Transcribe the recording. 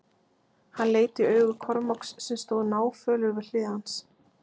Hann leit í augu Kormáks sem stóð náfölur við hlið hans.